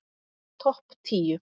Topp tíu